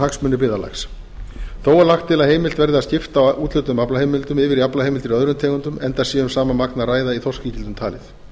hagsmuni byggðarlags þó er lagt til að heimilt verði að skipta á úthlutuðum aflaheimildum yfir í aflaheimildir í öðrum tegundum enda sé um sama magn að ræða í þorskígildum talið